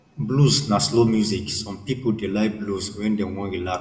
blues na slow music some pipo dey like blues when dem wan relax